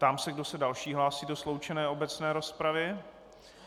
Ptám se, kdo se další hlásí do sloučené obecné rozpravy.